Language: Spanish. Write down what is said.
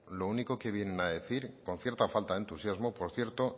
lo único que vienen a decir con cierta falta de entusiasmo por cierto